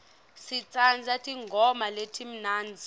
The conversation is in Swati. sitsandza tingoma letimnandzi